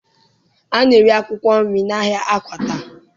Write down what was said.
A na-ere akwụkwọ nri n'ahịa Akwata